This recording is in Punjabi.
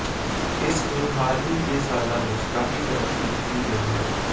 ਇਸ ਨੂੰ ਹਾਲ ਹੀ ਦੇ ਸਾਲਾਂ ਵਿੱਚ ਕਾਫ਼ੀ ਤਰੱਕੀ ਦਿੱਤੀ ਗਈ ਹੈ